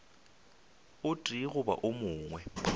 o tee goba wo mongwe